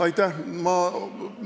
Aitäh!